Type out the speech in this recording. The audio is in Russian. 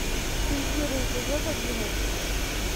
империя эпизод одиннадцать